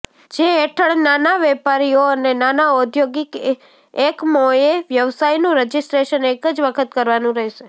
જે હેઠળ નાના વેપારીઓ અને નાના ઔદ્યોગીક એકમોએ વ્યવસાયનું રજીસ્ટ્રેશન એક જ વખત કરવાનું રહેશે